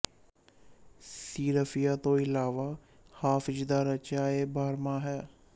ਸੀਹਰਫ਼ੀਆਂ ਤੋਂ ਇਲਾਵਾ ਹਾਫਿ਼ਜ਼ ਦਾ ਰਚਿਆ ਇੱਕ ਬਾਰਹਮਾਹ ਹੈ